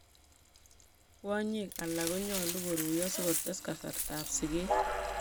Kwonyik alak konyolu koruiyo sikotes kasartaab sikeet